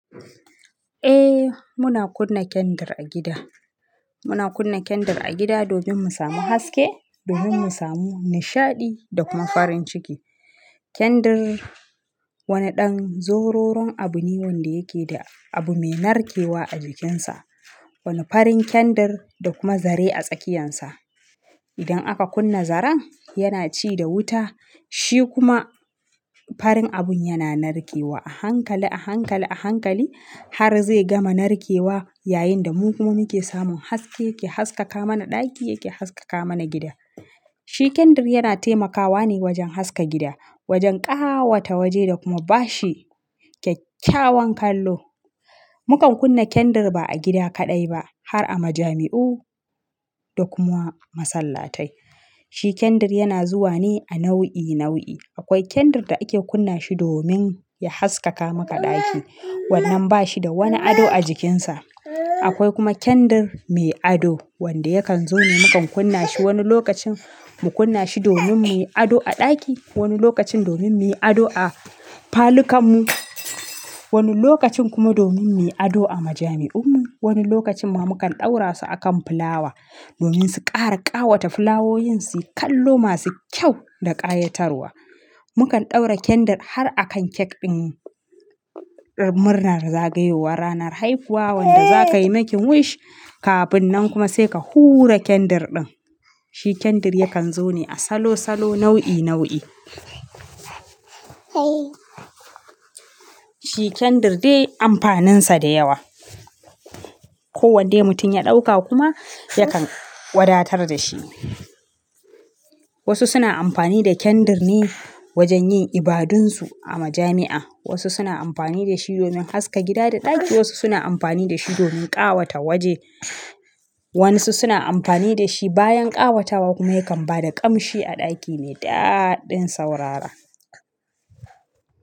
Eh muna kunna kandir a gida, muna kunna kandir a gida domin mu samu haske, domin mu samu nishaɗi da kuma farin ciki. Kandir wani ɗan zororon abu ne wanda yake da abu mai narkewa a jikinsa, wani farin kandir da kuma zare a tsakiyansa. Idan aka kunna zaren yana ci da wuta shi kuma farin abun yana narkewa a hankali, a hankali, a hankali har zai gama narkewa yayinda mu kuma muke samun haske yake haskaka mana ɗaki yake haskaka mana gida. Shi kandir yana taimakawa ne wajen haska gida, wajen ƙawata waje da kuma bashi kyakkyawan kallo. Mukan kunna kandir ba a gida kaɗai ba har a majami'u da kuma masallatai. Shi kandir yana zuwa ne a nau'i nau'i. Akwai kandir da ake kunna shi domin ya haskaka maka ɗaki wannan ba shi da wani ado a jikinsa. Akwai kuma kandir mai ado wanda yakan zo ne mukan kunna shi wani lokacin mu kunna shi domin mu yi ado a ɗaki, wani lokacin domin mu yi ado a falukan mu, wani lokacin kuma domin mu yi ado a majami'un mu. Wani lokacin ma mukan ɗaura su a kan fulawa domin su ƙara ƙawata fulawoyin su yi kallo masu kyau da ƙayatarwa. Mukan ɗaura kandir har a kan kek ɗin murnar zagayowar ranar haifuwa wanda za ka yi making wish kafin nan kuma sai ka hura kandir ɗin. Shi kandir yakan zo ne a salo salo nau'i nau'i. Shi kandir dai amfanin sa da yawa. Ko wadda mutum ya ɗauka kuma yakan wadatar da shi. Wasu suna amfani da kandir ne wajen yin ibadun su a majami'a, wasu suna amfani da shi domin haska gida da ɗaki, wasu suna amfani da shi domin ƙawata waje. Wa 'yansu suna amfani da shi bayan ƙawatawa kuma yakan ba da ƙamshi a ɗaki mai daɗin saurara.